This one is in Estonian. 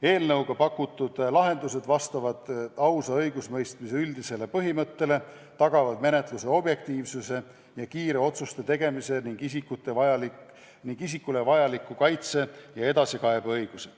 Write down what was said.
Eelnõuga pakutud lahendused vastavad ausa õigusemõistmise üldisele põhimõttele, tagavad menetluse objektiivsuse ja kiire otsuste tegemise ning isikule vajaliku kaitse ja edasikaebeõiguse.